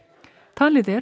talið er